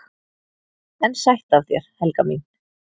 """EN SÆTT AF ÞÉR, HELGA MÍN!"""